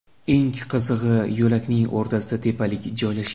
Eng qizig‘i, yo‘lakning o‘rtasida tepalik joylashgan.